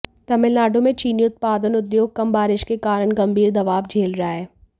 तमिलनाडु में चीनी उत्पादन उद्योग कम बारिश के कारण गंभीर दबाव झेल रहा है